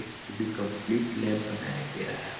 एक पूरी complete lab बनाया गया है।